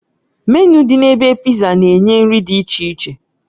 Menịu dị na ebe Pizza na-enye nri dị iche iche